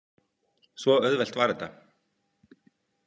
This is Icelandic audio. Svo auðvelt var þetta.